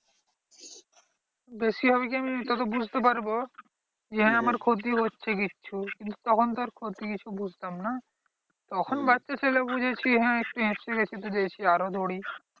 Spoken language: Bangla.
বেশি হবে কি আমি তত বুঝতে পারবো যে হ্যাঁ আমার ক্ষতি হচ্ছে কিছু। তখন তো আর ক্ষতি কিছু বুঝতাম না? তখন বাচ্চা ছেলে বুঝেছি হ্যাঁ একটু হেঁপসে গেছি তো গেছি আরো দৌড়োই।